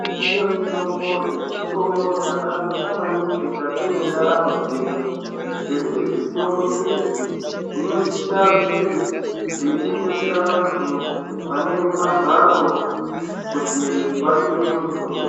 Zvinotengesa mitombo zvitoro zvakakosha maningi mukati mentaramo dzedu ngekuti zvitoro izvi zvinosisa kutengesa vantu vane magwaro kuti vatenge mitombo.